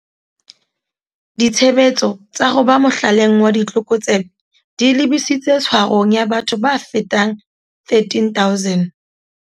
Ditshebetso tsa ho ba mohlaleng wa ditlokotsebe di lebisitse tshwarong ya batho ba fetang 13 000.